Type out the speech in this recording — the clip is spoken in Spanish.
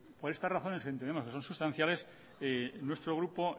por estas razones que entendemos que son sustanciales nuestro grupo